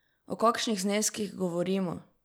O kakšnih zneskih govorimo?